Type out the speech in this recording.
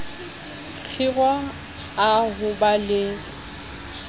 kgiro a ho ba le